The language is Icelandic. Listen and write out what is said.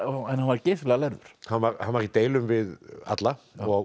en hann var geysilega lærður hann var hann var í deilum við alla og